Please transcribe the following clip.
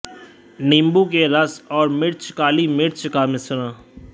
नींबू के रस और मिर्च काली मिर्च का मिश्रण